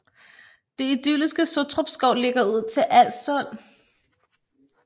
Det idylliske Sottrupskov ligger ud til Als Sund